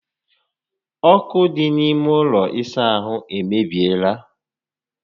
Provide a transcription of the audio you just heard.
Ókụ́ dị n'ime ụlọ ịsa ahụ emebiela